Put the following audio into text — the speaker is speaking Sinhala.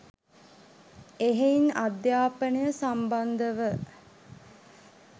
එහෙයින් අධ්‍යාපනය සමිබන්ධව